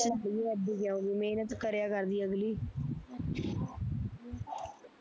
ਮਿਹਨਤ ਕਰਿਆ ਕਰਦੀ ਅਗਲੀ